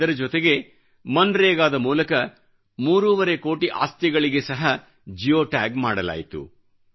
ಇದರ ಜೊತೆಗೇಮನ್ರೇಗಾ ಮನ್ರೆಗಾ ದ ಮೂಲಕ ಮೂರೂವರೆ ಕೋಟಿ ಆಸ್ತಿಗಳಿಗೆ ಸಹ ಜಿಯೋ ಟ್ಯಾಗ್ ಮಾಡಲಾಯಿತು